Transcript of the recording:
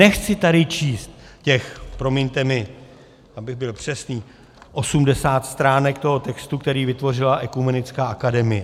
Nechci tady číst těch, promiňte mi, abych byl přesný, 80 stránek toho textu, který vytvořila Ekumenická akademie.